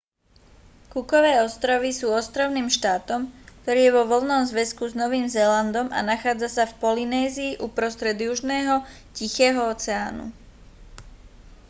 cookove ostrovy sú ostrovným štátom ktorý je vo voľnom zväzku s novým zélandom a nachádza sa v polynézii uprostred južného tichého oceánu